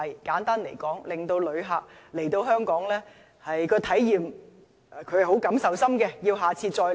簡單來說，要令旅客對香港的體驗有很深的感受，會再度來港。